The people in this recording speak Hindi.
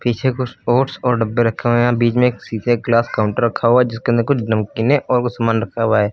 पीछे कुछ ओट्स और डब्बे रखे हुए हैं बीच में एक शीशे का ग्लास काउंटर रखा हुआ जिसके अंदर कुछ नमकीने और कुछ सामान रखा हुआ है।